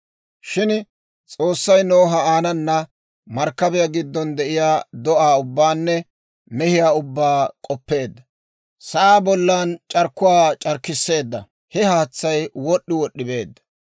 Shin S'oossay Noha, aanana markkabiyaa giddon de'iyaa do'aa ubbaanne mehiyaa ubbaa k'oppeedda; sa'aa bollan c'arkkuwaa c'arkkisseedda; he haatsay wod'd'i wod'd'i beedda.